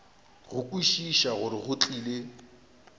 go kwešiša gore go tlile